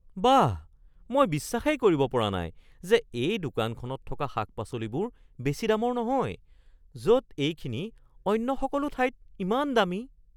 বাহ, মই বিশ্বাসেই কৰিব পৰা নাই যে এই দোকানখনত থকা শাক-পাচলিবোৰ বেছি দামৰ নহয় য'ত এইখিনি অন্য সকলো ঠাইত ইমান দামী!